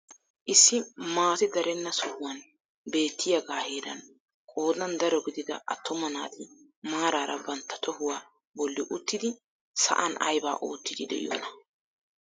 Issi maati darenna sohuwaay beettiyaagaa heran qoodan daro gidida attuma naati maarara bantta tohuwaa bolli uttidi sa'aan aybaa oottiidi de'iyoonaa?